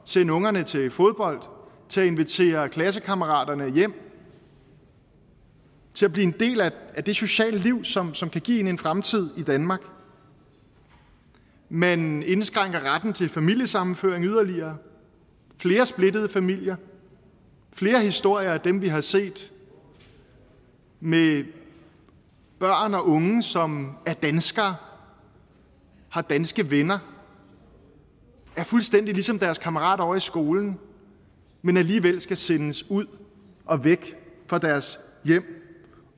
sende ungerne til fodbold til at invitere klassekammeraterne hjem til at blive en del af det sociale liv som som kan give en en fremtid i danmark man indskrænker retten til familiesammenføring yderligere flere splittede familier flere historier som dem vi har set med børn og unge som er danskere har danske venner er fuldstændig ligesom deres kammerat ovre i skolen men alligevel skal sendes ud og væk fra deres hjem